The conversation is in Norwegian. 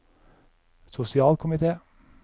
sosialkomite